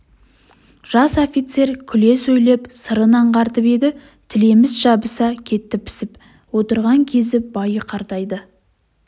жас офицер күле сөйлеп сырын аңғартып еді тілеміс жабыса кеттіпісіп отырған кезі байы қартайды